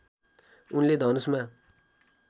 उनले धनुषमा